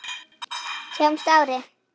Sjáumst að ári.